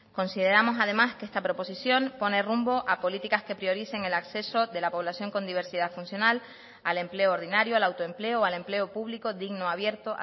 consideramos además que esta proposición pone rumbo a políticas que prioricen el acceso de la población con diversidad funcional al empleo ordinario al autoempleo o al empleo público digno abierto